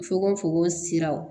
Fokon fokon siraw